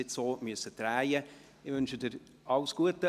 Lea Kusano, ich wünsche Ihnen alles Gute.